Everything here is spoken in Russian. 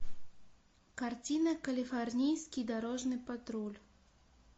картина калифорнийский дорожный патруль